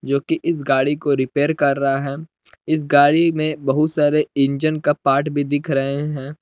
जोकि इस गाड़ी को रिपेयर कर रहा है इस गाड़ी में बहुत सारे इंजन का पार्ट भी दिख रहे हैं।